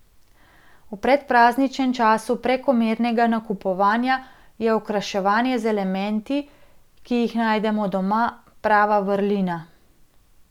V predprazničnem času prekomernega nakupovanja je okraševanje z elementi, ki jih najdemo doma, prava vrlina.